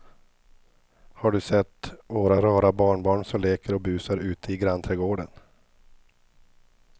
Har du sett våra rara barnbarn som leker och busar ute i grannträdgården!